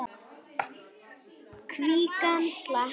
Kvígan slapp.